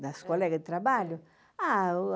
Das colegas de trabalho?